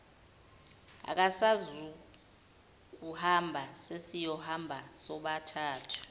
akasezukuhamba sesiyohamba sobathathu